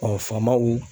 faamaw